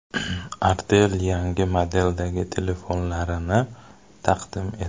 Artel yangi modeldagi telefonlarini taqdim etdi.